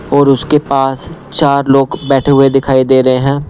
और उसके पास चार लोग बैठे हुए दिखाई दे रहे हैं।